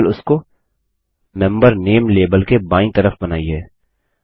केवल उसको member name label के बायीं तरफ बनाइए